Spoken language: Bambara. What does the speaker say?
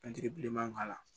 bilenman k'a la